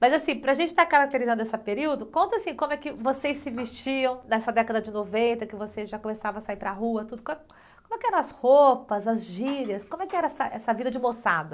Mas assim, para a gente estar caracterizando esse período, conta assim, como é que vocês se vestiam nessa década de noventa, que vocês já começavam a sair para a rua, tudo, como, como é que eram as roupas, as gírias, como é que era essa vida de moçada?